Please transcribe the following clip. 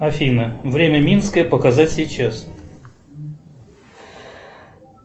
афина время минское показать сейчас